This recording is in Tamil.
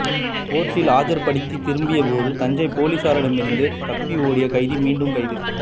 கோர்ட்டில் ஆஜர்படுத்தி திரும்பிய போது தஞ்சையில் போலீசாரிடமிருந்து தப்பியோடிய கைதி மீண்டும் கைது